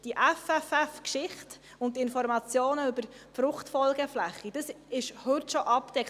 Diese FFF-Geschichte und die Informationen über die Fruchtfolgeflächen, dies ist also bereits heute abgedeckt.